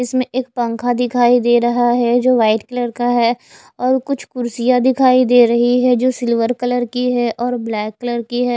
इसमें एक पंखा दिखाई दे रहा है जो व्हाइट कलर का है और कुछ कुर्सियां दिखाई दे रही है जो सिल्वर कलर की है और ब्लैक कलर की है।